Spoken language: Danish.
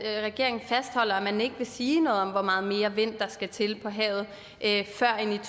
at regeringen fastholder at man ikke vil sige noget om hvor meget mere vind der skal til på havet før